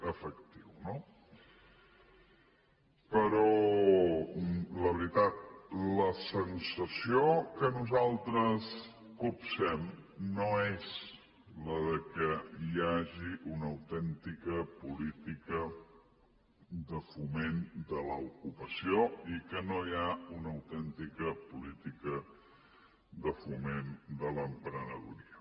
efectiu no però la veritat la sensació que nosaltres copsem no és que hi hagi una autèntica política de foment de l’ocupació i que no hi ha una autèntica política de foment de l’emprenedoria